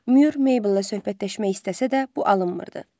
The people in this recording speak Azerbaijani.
Mür Meybllə söhbətləşmək istəsə də bu alınmırdı.